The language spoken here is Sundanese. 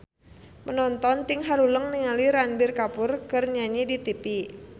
Panonton ting haruleng ningali Ranbir Kapoor keur nyanyi di tipi